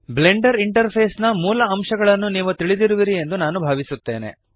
Blender interface ನ ಮೂಲ ಅಂಶಗಳನ್ನು ನೀವು ತಿಳಿದಿರುವಿರಿ ಎಂದು ನಾನು ಭಾವಿಸುತ್ತೇನೆ